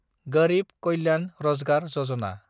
Garib Kalyan Rozgar Yojana